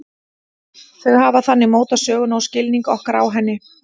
Þau hafa þannig mótað söguna og skilning okkar á henni.